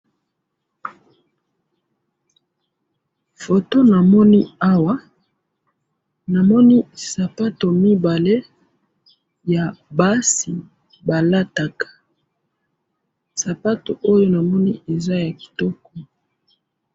photo na moni awa na moni sapato mibale ya basi ba lataka sapato oyo na moni eza ya kitoko